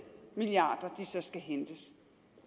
milliarder så skal hentes